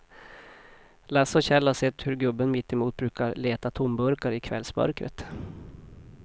Lasse och Kjell har sett hur gubben mittemot brukar leta tomburkar i kvällsmörkret.